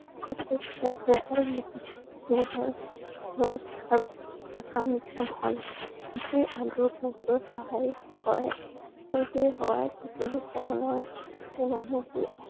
থাকে আৰু ঘৰত সকাম নিকাম হলে ইটুৱে আনটোক সহায় কৰে আৰু সেই সহায় সকলো ধৰণৰ মানুহবোৰ আহি